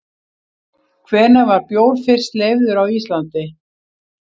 Hvenær var bjór fyrst leyfður á Íslandi?